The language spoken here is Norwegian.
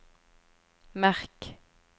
merk